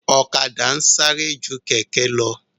Ọ̀kadà ń sáré ju kẹ̀kẹ́ lọ